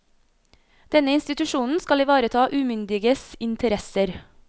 Denne institusjonen skal ivareta umyndiges interesser.